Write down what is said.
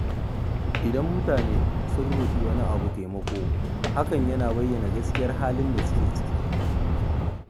Idan mutane sun roƙi wani taimako, hakan yana bayyana gaskiyar halin da suke ciki.